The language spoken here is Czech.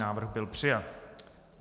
Návrh byl přijat.